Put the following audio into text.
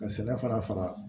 Ka sɛnɛ fana faga